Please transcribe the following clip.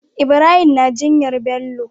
Ibrahim na jinyar Bello